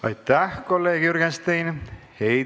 Aitäh, kolleeg Jürgenstein!